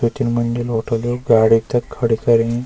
द्वि तीन मंजिल होठल गाड़ी तख खड़ी करीं।